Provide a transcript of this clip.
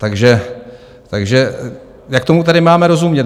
Takže jak tomu tedy máme rozumět?